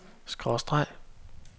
skråstreg